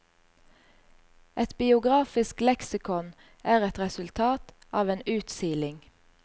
Et biografisk leksikon er et resultat av en utsiling.